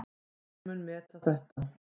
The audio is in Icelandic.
Hver mun meta þetta?